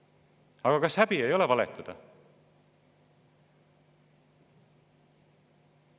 Aga kas häbi ei ole valetada?